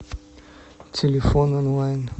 телефон онлайн